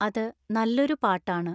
അത് നല്ലൊരു പാട്ടാണ്